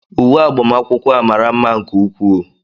Uwe agbamakwụkwọ a mara mma nke ukwuu